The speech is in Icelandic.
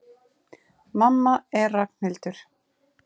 Mamma er Ragnhildur.